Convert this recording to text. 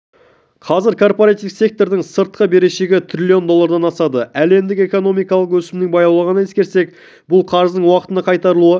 қазір корпоративтік сектордың сыртқы берешегі трлн доллардан асады әлемдік экономикалық өсімнің баяулағанын ескерсек бұл қарыздың уақытында қайтарылуы екіталай дейді сарапшылар